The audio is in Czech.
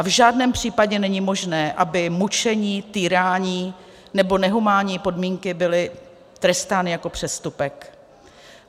A v žádném případě není možné, aby mučení, týrání nebo nehumánní podmínky byly trestány jako přestupek.